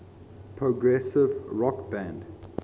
progressive rock band